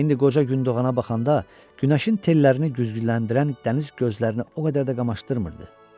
İndi qoca gün doğana baxanda günəşin tellərini güzgüləndirən dəniz gözlərini o qədər də qamaşdırmırdı.